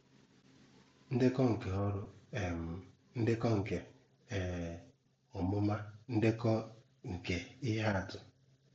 Ndekọ nke órú, um ñdékó nke um ọ̀múmá, ndekọ nke ihe àtù.